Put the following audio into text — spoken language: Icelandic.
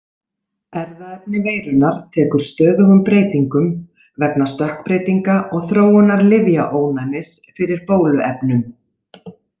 Erfðaefni veirunnar tekur stöðugum breytingum vegna stökkbreytinga og þróunar lyfjaónæmis fyrir bóluefnum.